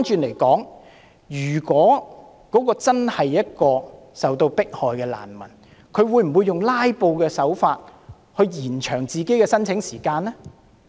相反，一個真正受到迫害的難民，會否用"拉布"的手法延長自己的申請時間？